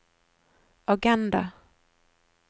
agenda